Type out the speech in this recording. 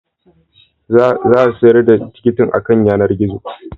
Za a sayar da tikitin akan yanar gizo